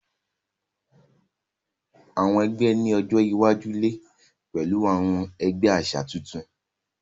Àwọn egbé ní ọjọ iwájú lẹ pẹlú àwọn ẹgbẹ àṣà tuntun.